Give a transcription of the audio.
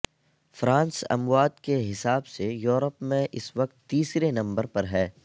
France اموات کے حساب سے یورپ میں اس وقت تیسرے نمبر پر ہے